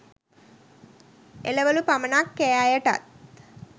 එළවලු පමණක් කෑ අය ටත්